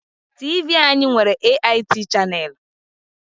TV anyị nwere AIT chaneelu.